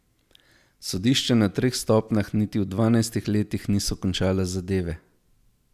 Sodišča na treh stopnjah niti v dvanajstih letih niso končala zadeve.